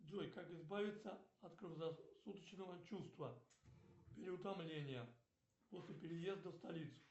джой как избавиться от круглосуточного чувства переутомления после переезда в столицу